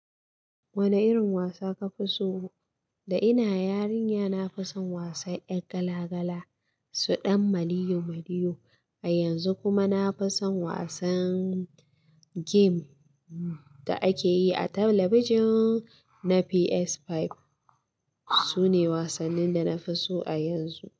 Wane irin wasa ka fi so? Da ina yarinya na fi son wasan yar gala gala, su ɗan maliyo maliyo. A yanzu kuma na fi son wasan game da ake yi a talabijin na PS5. Su ne wasannin da na fi so a yanzu.